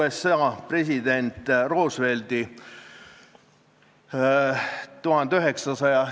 Eelnõu ei ole mahukas ja kõigepealt selgitas Tarmo Kruusimäe selle põhisõnumit: sunniraha ülemmäär 640 eurot on ajale jalgu jäänud.